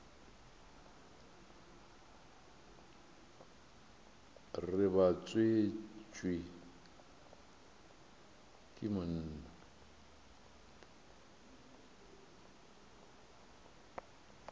re ba tswetšwe ke monna